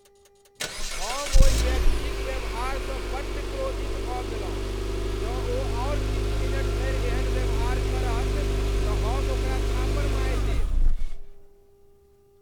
हम ओहि व्यक्तिक व्यवहारसँ बड्ड क्रोधित भऽ गेलहुँ। जौं ओ आओर किछु मिनट धरि एहन व्यवहार करत तऽ हम ओकरा थप्पड़ मारि देब।